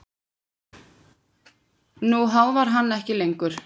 Nú háfar hann ekki lengur.